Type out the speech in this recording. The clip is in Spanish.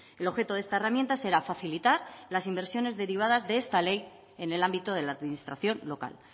el objeto de esta herramienta será facilitar las inversiones derivadas de esta ley en el ámbito de la administración local